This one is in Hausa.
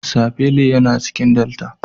Sapele yana cikin delta.